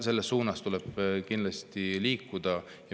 Selles suunas tuleb kindlasti liikuda.